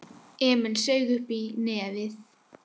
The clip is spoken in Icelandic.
Emil saug uppí nefið.